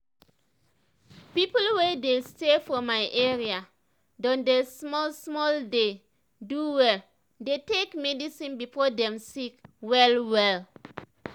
people wey dey stay for my area don dey small small dey do well dey take medicine before dem sick well well